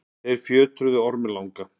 þeir fjötruðu orminn langa